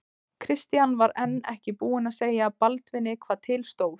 Christian var enn ekki búinn að segja Baldvini hvað til stóð.